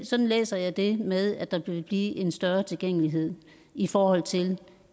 sådan læser jeg det med at der vil blive en større tilgængelighed i forhold til